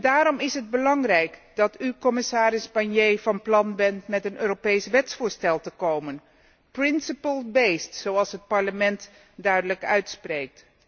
Daarom is het belangrijk dat u, commissaris Barnier, van plan bent met een Europees wetsvoorstel te komen. Principle based zoals het Parlement duidelijk uitspreekt.